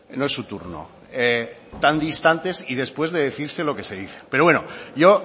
no es su turno tan distantes y después de decirse lo que se dicen pero bueno yo